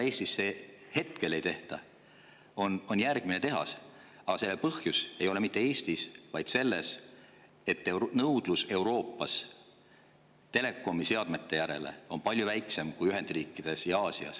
Hetkel ei tehta Eestisse järgmist tehast, aga põhjus ei ole mitte Eestis, vaid selles, et Euroopas on nõudlus telekomi seadmete järele palju väiksem kui Ühendriikides ja Aasias.